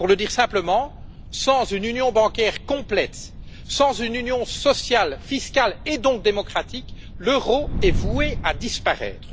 Pour le dire simplement, sans une union bancaire complète, sans une union sociale, fiscale et démocratique, l'euro est voué à disparaître.